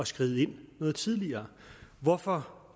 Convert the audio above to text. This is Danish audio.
skride ind noget tidligere hvorfor